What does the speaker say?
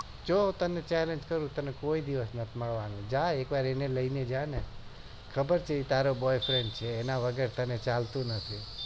જો તન challenge કરું તને કોઈ દિવસ નહી મળવાનું ખબર છે ઈ boy friend છે એના વગર તને ચાલતું નથી